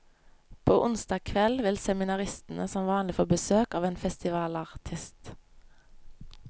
På onsdag kveld vil seminaristene som vanlig få besøk av en festivalartist.